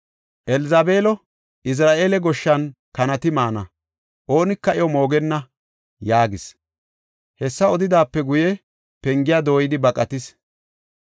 Elzabeelo, Izra7eela goshshan kanati maana; oonika iyo moogenna’ ” yaagis. Hessa odidaape guye, pengiya dooyidi baqatis.